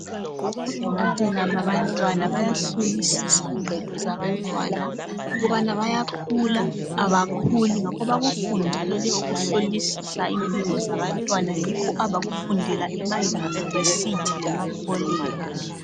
Odokotela babantwana bayahlolisisa impilo zabantwana ukubana bayakhula, abakhuli. Ngakho bakufundele ukuhlolisisa impilo zabantwana yikho abakufundela emayunivesithi lemakholeji.